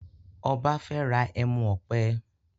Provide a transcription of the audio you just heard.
Ọba fè rà ẹmu òpè.